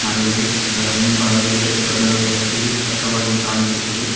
ಮರವಿದೆ ಅದರ ಮುಂಭಾಗದಲ್ಲಿ ದೊಡ್ಡದಾದ ರಸ್ತೆಯು ಇಲ್ಲಿ ಸ್ಪಷ್ಟವಾಗಿ ಕಾಣಿಸುತ್ತದೆ.